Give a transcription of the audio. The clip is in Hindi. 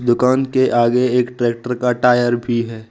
दुकान के आगे एक ट्रैक्टर का टायर भी है।